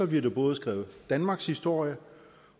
bliver der både skrevet danmarkshistorie